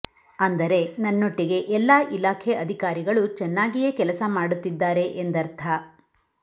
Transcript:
ಅಂದರೆ ನನ್ನೊಟ್ಟಿಗೆ ಎಲ್ಲಾ ಇಲಾಖೆ ಅಧಿಕಾರಿಗಳು ಚೆನ್ನಾಗಿಯೇ ಕೆಲಸ ಮಾಡುತ್ತಿದ್ದಾರೆ ಎಂದರ್ಥ